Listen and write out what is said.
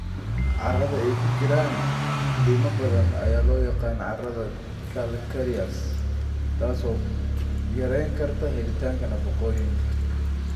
Carrada ay ku jiraan lime badan ayaa loo yaqaan carrada calcareous, taas oo yarayn karta helitaanka nafaqooyinka.